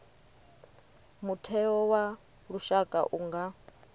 mutheo wa lushaka u nga